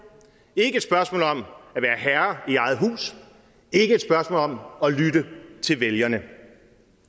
ikke et spørgsmål om at være herre i eget hus ikke et spørgsmål om at lytte til vælgerne